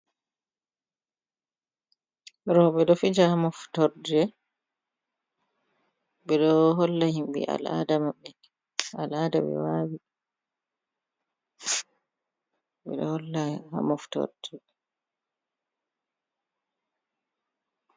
rooɓe ɗo fija moftorde, holla himɓe al'ada maɓɓe, al'ada ɓe wawi, ɓe ɗo holla ha moftordebe